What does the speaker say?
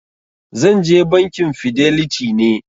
Zan je Bankin fidelity ne.